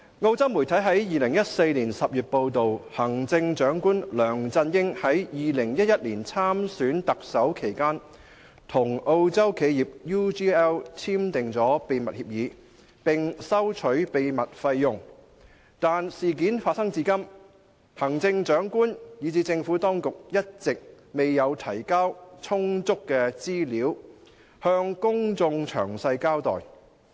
澳洲媒體於2014年10月報道，行政長官梁振英在2011年參選特首期間，與澳洲企業 UGL 簽訂秘密協議，並收取秘密費用，但事件發生至今，行政長官以至政府當局一直未有提交充足資料，向公眾詳細交代。